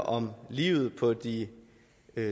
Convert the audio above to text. om livet på de